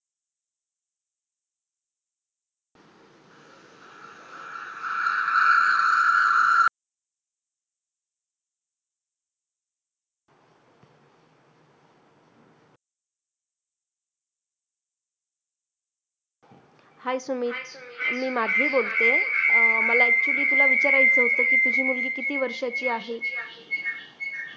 Hi Sumit मी माधवी बोलतेय. मला actually तुला विचारायचं होतं की तुझी मुलगी किती वर्षांची आहे?